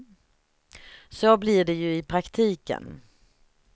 Så blir det ju i praktiken.